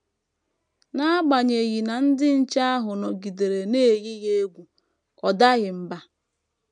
N’agbanyeghị na ndị nche ahụ nọgidere na - eyi ya egwu, ọ daghị mbà.